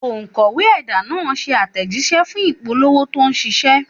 Òkọ̀wé ẹ̀dà náà ṣe àtẹ̀jíṣẹ́ fún ìpolówó tó ṣiṣẹ́.